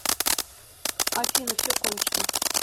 афина все кончено